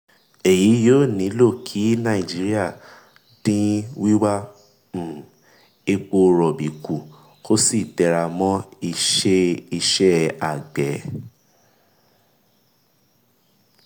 èyí yóò ní lọ kí nàìjíríà dín wíwà um epo rọ̀bì kú kó sì tẹra mọ́ ìṣe ìṣe àgbẹ̀.